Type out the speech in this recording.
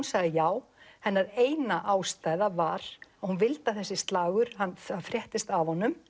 sagði já hennar eina ástæða var að hún vildi að þessi slagur það fréttist af honum